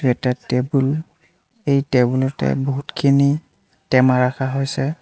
এটা টেবুল এই টেবুলতে বহুতখিনি টেমা ৰাখা হৈছে।